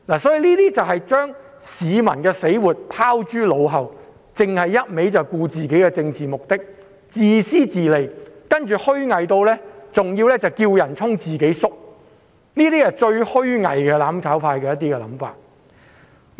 他們把市民的死活拋諸腦後，只顧自己的政治目的，自私自利，更要"叫人衝，自己縮"，上述都是"攬炒派"最虛偽的想法。